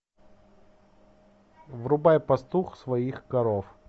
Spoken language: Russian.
врубай пастух своих коров